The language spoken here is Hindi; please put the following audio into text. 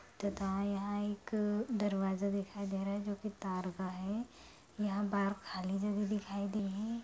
तथा यहाँ एक दरवाजा दिख रहा है जो की गिटार का है यहाँ बाहर खाली जगह दिखाई दे रही है।